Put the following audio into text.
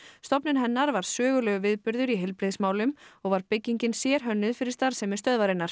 stofnun hennar var sögulegur viðburður í heilbrigðismálum og var byggingin sérhönnuð fyrir starfsemi stöðvarinnar